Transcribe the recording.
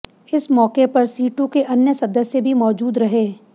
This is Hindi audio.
इस मौके पर सीटू के अन्य सदस्य भी मौजूद रहे